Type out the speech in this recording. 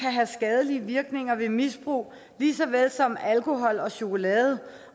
have skadelige virkninger ved misbrug lige så vel som alkohol og chokolade